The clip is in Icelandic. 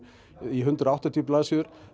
í hundrað og áttatíu blaðsíður